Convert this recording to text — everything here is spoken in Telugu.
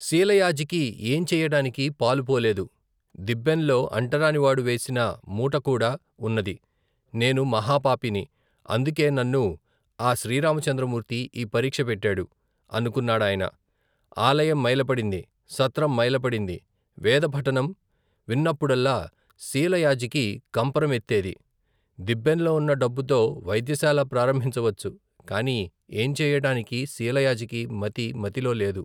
శీలయాజికి, ఏం చెయ్యటానికీ పాలుపోలేదు, దిబ్బెంలో అంటరానివాడు వేసిన మూటకూడా, ఉన్నది నేను మహా పాపిని, అందుకే నన్ను ఆ శ్రీ రామచంద్రమూర్తి, ఈ పరీక్ష పెట్టాడు, అనుకున్నాడాయన ఆలయం మైలపడింది, సత్రం మైలపడింది, వేదపఠనం వినప్పుడల్లా శీలయాజికి, కంపరం ఎత్తేది దిబ్బెంలో ఉన్న డబ్బుతో, వైద్యశాల ప్రారంభించవచ్చు, కాని ఏం చెయ్యటానికీ, శీలయాజికి మతి మతిలో లేదు.